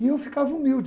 E eu ficava humilde.